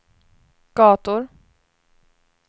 gator